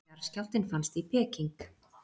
Jarðskjálftinn fannst í Peking